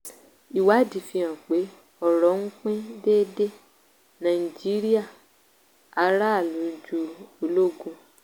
ìwádìí fi hàn pé ọrọ̀ ń pín déédéé nàìjíríà aráàlú ju ológun.